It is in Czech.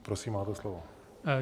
Prosím máte slovo.